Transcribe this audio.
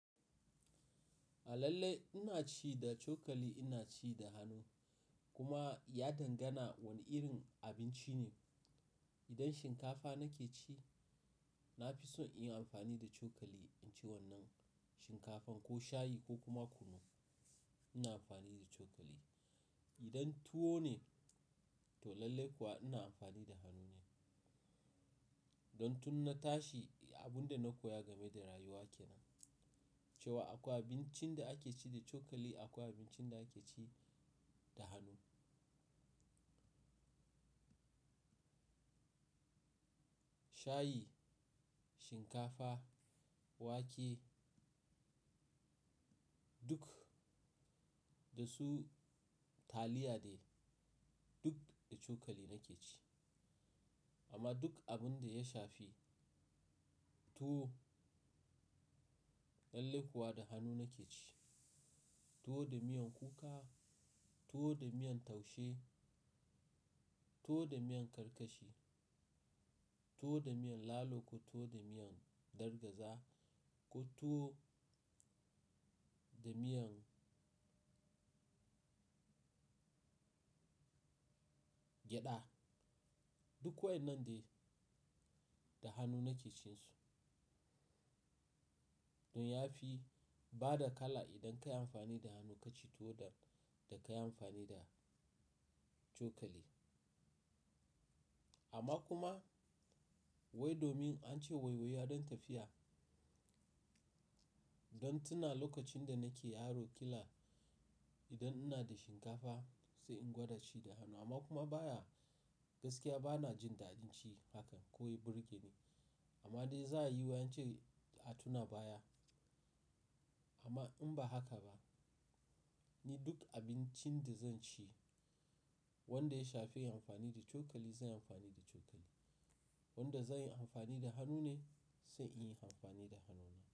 Lalle ina ci da cokali, ina ci da hannu kuma ya danganta wane irin abinci ne. Idan shinkafa nake ci, na fi so in yi amfani da cokali in ci wannan shinkafan ko shayi ko kuma kunu ina amfani da cokali. Idan tuwo ne, to lallai kuwa ina amfani da hannu. Don tun na tashi abin da na koya game da rayuwa ke nan, cewa akwa abincin da ake ci da cokali, akwa abincin da ake ci da hannu. Shayi, shinkafa, wake duk da su taliya dai duk da cokali nake ci. Amma duk abin da ya shafi tuwo, lallai kuwa da hannu nake ci. Tuwo da miyan kuka, tuwo da miyan taushe, tuwo da miyan karkashi, tuwo da miyan lalo ko tuwo da miyan gwargwaza ko tuwo da miyan gyada duk wa in nan dai da hannu nake cin su. Don ya fi bada kala idan ka yi amfani da hannu ka ci tuwo da ka yi amfani da cokali. Amma kuma wai domin an ce waiwaiye don tafiya, don tuna lokacin da nake yaro kila idan ina da shinkafa sai in gwada ci da hannu amma kuma baya gaskiya bana jin daɗin ci hakan ko ya burge ni. Amma me za'a yi wai ance atuna baya. Amma in ba haka ba, ni duk abincin da zan ci wanda ya shafi amfani da cokali zan yi amfani da cokali. Wanda zan yi amfani da hannu ne sai in yi amfani da hannu.